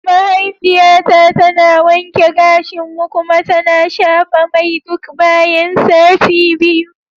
Mahaifiyata tana wanke gashinmu kuma tana shafa mai duk bayan sati biyu.